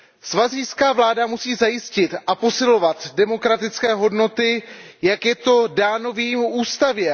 Svazijská vláda musí zajistit a posilovat demokratické hodnoty, jak je to dáno v její ústavě.